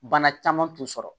Bana caman t'u sɔrɔ